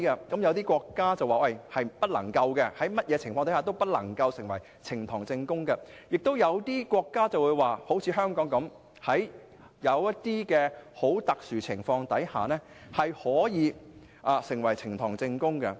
有些國家訂明不能，在任何情況下都不能成為呈堂證供，但亦有些國家和香港一般，規定在很特殊的情況下可成為呈堂證供。